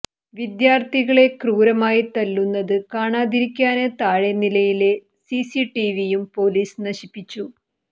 വിദ്യാര്ഥികളെ ക്രൂരമായി തല്ലുന്നത് കാണാതിരിക്കാന് താഴെ നിലയിലെ സിസിടിവിയും പൊലീസ് നശിപ്പിച്ചു